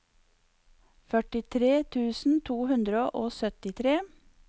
førtitre tusen to hundre og syttitre